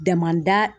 Damanda